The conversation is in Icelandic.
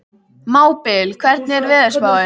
Mábil, hvernig er veðurspáin?